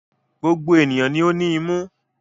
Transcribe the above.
Gbogbo ènìyàn ni ó ní imú.